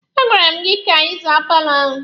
A gwara m gị ka ị zaa paalọ ahụ!